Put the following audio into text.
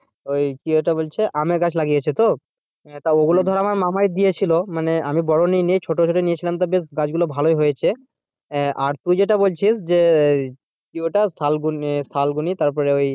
ওই কি ওটা বলছে আমের গাছ লাগিয়েছো তো? তা ধর আমার মামা দিয়ে ছিল মানে আমি বড়ো নিইনি ছোটো ছোটো নিয়েছিলাম তো বেশ ভালো হয়েছে। আহ আর তুই যেটা বলছিস যে কি ওটা তারপর ওই,